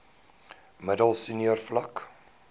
middel senior vlak